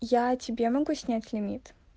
я тебе могу снять лимит